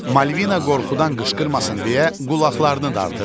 Malvina qorxudan qışqırmasın deyə qulaqlarını dartırdı.